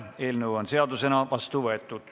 Eelnõu on seadusena vastu võetud.